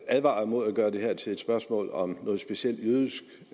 advare imod at gøre det her til et spørgsmål om noget specielt jødisk